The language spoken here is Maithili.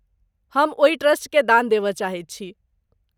हम ओहि ट्रस्टकेँ दान देबय चाहैत छी।